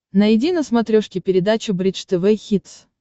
найди на смотрешке передачу бридж тв хитс